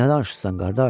Nə danışırsan qardaş?